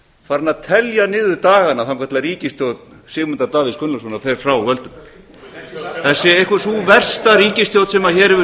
farinn að telja niður dagana þangað til að ríkisstjórn sigmundar davíðs gunnlaugssonar fer frá völdum þetta er einhver sú versta ríkisstjórn sem hér hefur